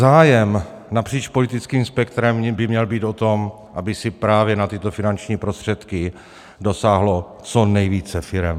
Zájem napříč politickým spektrem by měl být o tom, aby si právě na tyto finanční prostředky dosáhlo co nejvíce firem.